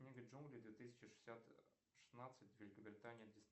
книга джунглей две тысячи шестьдесят шестнадцать великобритания